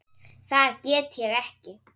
Það get ég ekki